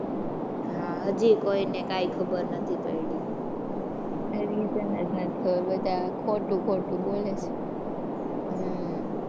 હાં હજુ કોઈ ને કઈ ખબર નથી પડી. Reason જ નથી ખબર બધા ખોટું ખોટું બોલે છે.